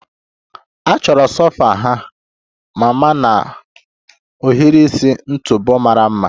A chọrọ sofa ha mma na ohiri isi ntụpọ mara mma